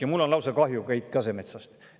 Ja mul on lausa kahju Keit Kasemetsast.